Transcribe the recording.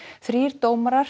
þrír dómarar